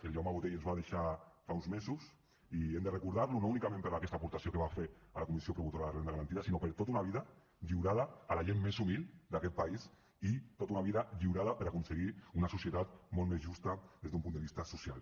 el jaume botey ens va deixar fa uns mesos i hem de recordar lo no únicament per aquesta aportació que va fer a la comissió promotora de la renda garantida sinó per tota una vida lliurada a la gent més humil d’aquest país i tota una vida lliurada per aconseguir una societat molt més justa des d’un punt de vista social